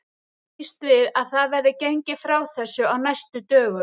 Ég býst við að það verði gengið frá þessu á næstu dögum.